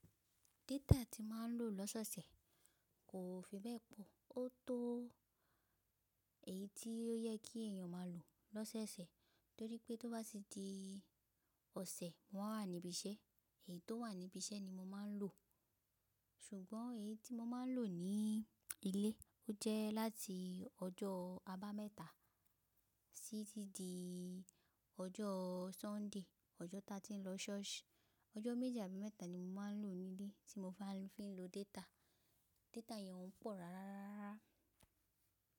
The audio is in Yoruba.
Data tí máa ń lò lọ́soọ̀sẹ̀ kò fi bẹ́ẹ̀ pọ̀. Ó tó èyí tí ó yẹ kí èèyàn máa lò lọ́sọ̀osẹ̀ torí pé tó bá tí di ọ̀sẹ̀ mo wa wà níbí iṣẹ́. Èyí tó wà níbí iṣẹ́ ni mo máa ń lò, ṣùgbọ́n èyí tí mo máa ń lò ní ilé ó jẹ́ láti ọjọ́ abámẹ́ta sí tí i di ọjọ́ Sunday, ọjọ́ ta tí ń lọ church. Ọjọ́ méjì àbí mẹ́ta ni mo máa ń lò ní ilé tí mo fi máa ń lo data. Data yẹn ọ́ n pọ̀ rárá.